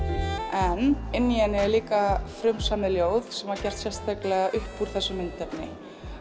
en inni í henni er líka frumsamið ljóð sem var gert sérstaklega upp úr þessu myndefni